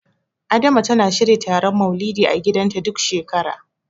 Adama tana shirya taron Maulidi a gidanta, duk shekara.